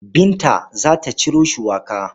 Binta za ta ciro shuwaka.